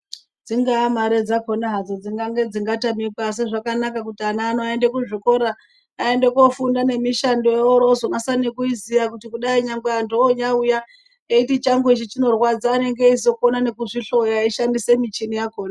Dzingaa mare dzakona hadzo dzingange dzingatamikwa asi zvakanaka kuti ana ano aende kuzvikora. Aende koofunda nemishando oroozokwanisa kuiziya kudai anthu onyauya eiti changu ichi chinorwadza anenge eizopona nekuzvihloya eishandisa michini yakona.